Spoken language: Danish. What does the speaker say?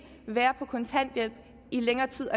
være på kontanthjælp i længere tid